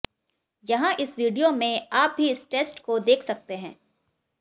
यहाँ इस विडियो में आप भी इस टेस्ट को देख सकते हैं